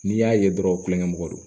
N'i y'a ye dɔrɔn kulonkɛ mɔgɔ don